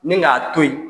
Ni k'a to yen